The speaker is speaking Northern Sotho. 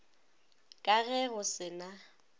ka ge go se na